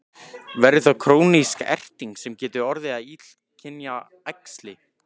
Verður þá krónísk erting sem getur orðið að illkynja æxli.